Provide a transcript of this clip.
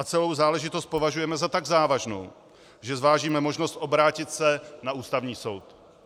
A celou záležitost považujeme za tak závažnou, že zvážíme možnost obrátit se na Ústavní soud.